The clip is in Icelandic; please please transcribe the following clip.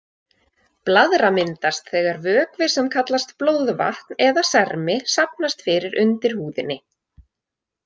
Blaðra myndast þegar vökvi sem kallast blóðvatn eða sermi safnast fyrir undir húðinni.